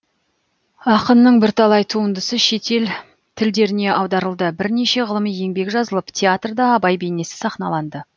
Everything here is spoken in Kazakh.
ақынның бірталай туындысы шетел тілдеріне аударылды бірнеше ғылыми еңбек жазылып театрда абай бейнесі сахналанды